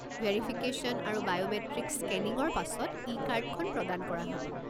Verification আৰু biometric স্কেনিঙৰ পাছত ই-কাৰ্ডখন প্ৰদান কৰা হ'ব।